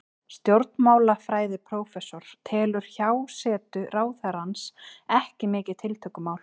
Stjórnmálafræðiprófessor telur hjásetu ráðherrans ekki mikið tiltökumál.